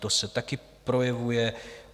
To se taky projevuje.